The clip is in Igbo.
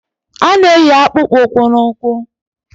A na-eyi akpụkpọ ụkwụ na ụkwụ